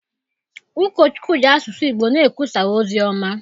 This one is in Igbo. Ụkọchukwu ji asụsụ Igbo na-ekwusa ozi ọma.